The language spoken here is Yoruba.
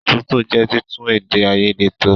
Àtúntò jẹ́ títún èdè àìyedè tò.